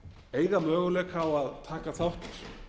eiga möguleika á að taka þátt